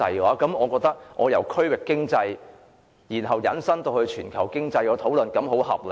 我認為我把討論由區域經濟引申至全球經濟，是很合理的。